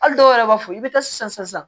Hali dɔw yɛrɛ b'a fɔ i bɛ taa sisan sisan sisan